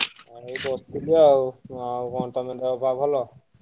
ଆଉ ବସିଥିଲି ଆଉ। ଆଉ କଣ ତମ ଦେହ ପା ଭଲ?